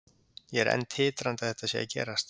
Ég er enn titrandi að þetta sé að gerast,